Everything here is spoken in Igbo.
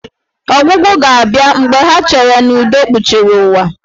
Ọgwụgwụ ga-abịa mgbe ha cheere n'udo kpuchiri ụwa.